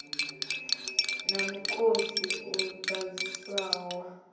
na mukosi u ḓaḓisaho wa